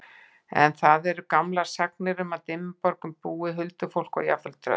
En til eru gamlar sagnir um að í Dimmuborgum búi huldufólk og jafnvel tröll.